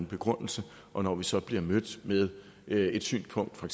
begrundelse og når vi så bliver mødt med et synspunkt fra